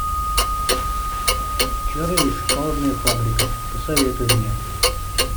чарли и шоколадная фабрика посоветуй мне